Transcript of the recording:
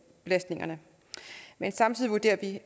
men samtidig vurderer vi